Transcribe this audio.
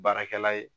Baarakɛla ye